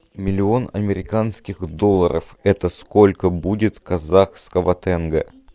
миллион американских долларов это сколько будет казахского тенге